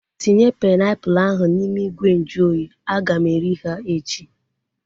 Tinye painiapulu ahu n'ime ìgwè nju oyi, aga m eri ha echi